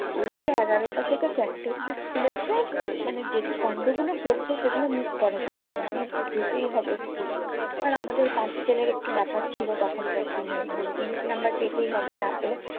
ঐযে এগারোটা থেকে চারটে অবধি school এর মানে যে কান্ডগুলো ঘটবে সেগুলো miss করা যাবেনা। মানে যেতেই হবে school আর আমাদের pass fail এর একটু ব্যাপার ছিল তখনকার দিনে। মানে ত্রিশ নাম্বার পেতেই হবে। না পেলে